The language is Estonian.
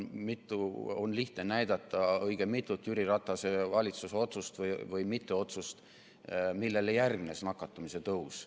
On lihtne näidata õige mitut Jüri Ratase valitsuse otsust või mitteotsust, millele järgnes nakatumise tõus.